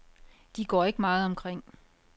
De går ikke meget omkring.